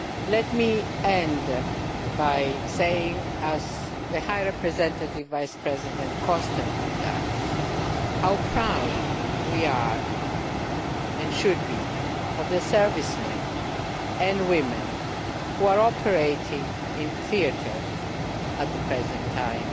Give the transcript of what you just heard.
Let me end by saying as the High Representative Vice President constantly does how proud we are and should be of the servicemen and women who are operating in theatre at the present time.